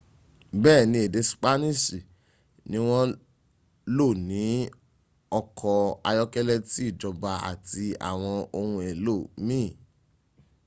béèni èdè spaniṣi ni wọ́n lò ní ọkọ̀ ayọ́kẹ́lẹ́ ti ìjọba àti àwọn ohun èlò míìn